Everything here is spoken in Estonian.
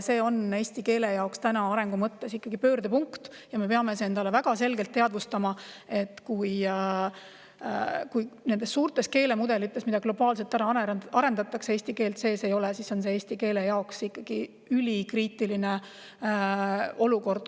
See on eesti keele arengu mõttes pöördepunkt ja me peame endale väga selgelt teadvustama, et kui suurtes keelemudelites, mida globaalselt arendatakse, eesti keelt sees ei ole, siis on see eesti keele jaoks ikkagi ülikriitiline olukord.